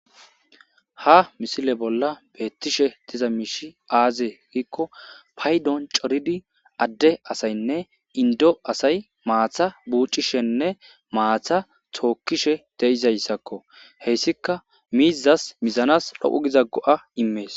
Ha misile bolla beettishe diza miishi aaze giikko paydon coridi adde asaynne indo asay maatha buuccishenne maatha thookkishe deizayssakko heyssika miizas mizanas dhoqu giza go'a immees